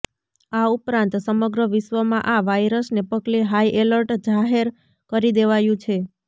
આ ઉપરાંત સમગ્ર વિશ્વમાં આ વાયરસને પગલે હાઈ એલર્ટ જાહેર કરી દેવાયું છે